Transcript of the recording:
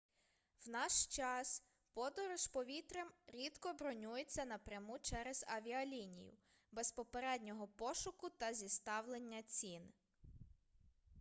в наш час подорож повітрям рідко бронюється напряму через авіалінію без попереднього пошуку та зіставлення цін